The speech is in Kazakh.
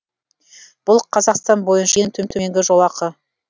бұл қазақстан бойынша ең төменгі жолақы